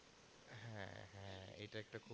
হ্যাঁ এটা একটা খুব